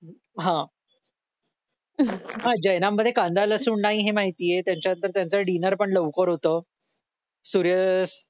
हा हा जैनांमध्ये कांदा लसूण नाही हे माहितीये त्याच्यात तर त्यांचं डिनर पण लवकर होत सूर्य अह